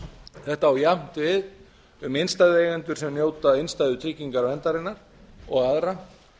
þetta á jafnt við um innstæðueigendur sem njóta innstæðutryggingarverndarinnar og aðra